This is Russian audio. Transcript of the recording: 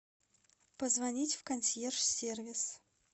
позвонить в консьерж сервис